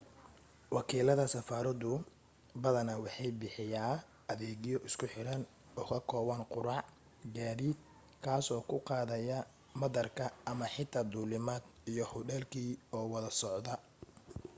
wakiilada safaradu badanaa waxay bixiyaa adeegyo isku xiran oo ka kooban quraac gaadiid kaa soo / kuu qaadaya madaarka ama xitaa duulimaad iyo hudheelkii oo wada socda